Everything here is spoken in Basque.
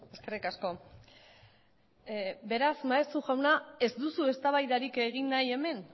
eskerrik asko beraz maeztu jauna ez duzu eztabaidarik egin nahi hemen